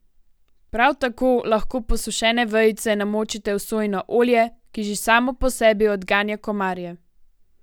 Prav tako lahko posušene vejice namočite v sojino olje, ki že samo po sebi odganja komarje.